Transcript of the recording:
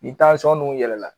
Ni dun yɛlɛla